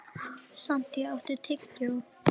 Santía, áttu tyggjó?